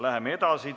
Läheme edasi.